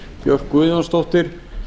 björk guðjónsdóttir